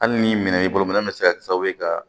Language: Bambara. Hali ni minɛn y'i bolo minɛn bɛ se ka kɛ sababu ye ka